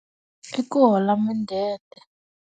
I ku hola mudende.